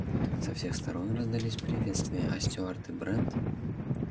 со всех сторон раздались приветствия а стюарт и брент